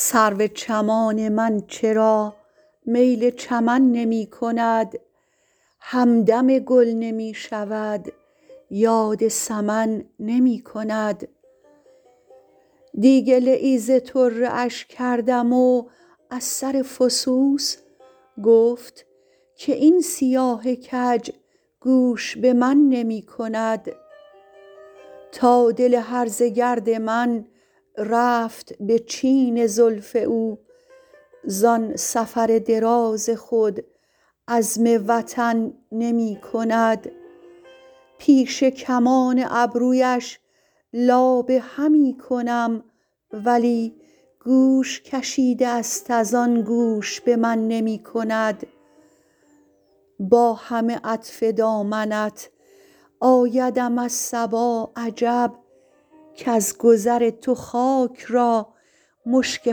سرو چمان من چرا میل چمن نمی کند همدم گل نمی شود یاد سمن نمی کند دی گله ای ز طره اش کردم و از سر فسوس گفت که این سیاه کج گوش به من نمی کند تا دل هرزه گرد من رفت به چین زلف او زان سفر دراز خود عزم وطن نمی کند پیش کمان ابرویش لابه همی کنم ولی گوش کشیده است از آن گوش به من نمی کند با همه عطف دامنت آیدم از صبا عجب کز گذر تو خاک را مشک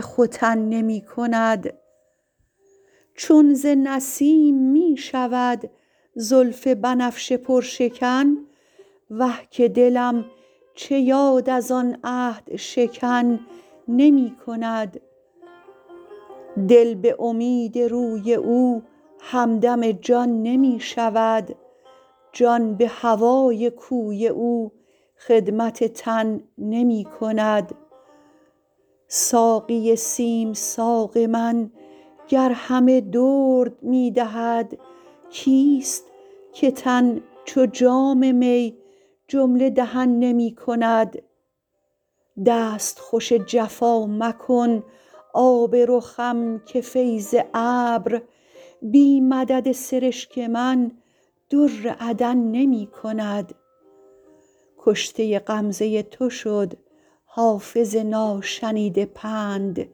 ختن نمی کند چون ز نسیم می شود زلف بنفشه پرشکن وه که دلم چه یاد از آن عهدشکن نمی کند دل به امید روی او همدم جان نمی شود جان به هوای کوی او خدمت تن نمی کند ساقی سیم ساق من گر همه درد می دهد کیست که تن چو جام می جمله دهن نمی کند دستخوش جفا مکن آب رخم که فیض ابر بی مدد سرشک من در عدن نمی کند کشته غمزه تو شد حافظ ناشنیده پند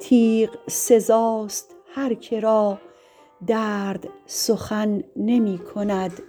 تیغ سزاست هر که را درد سخن نمی کند